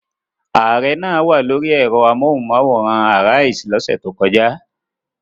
Ààrẹ náà wà lórí ẹ̀rọ amóhùmáwòhán Arise lọ́sẹ̀ tó kọjá.